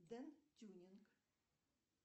дэн тюнинг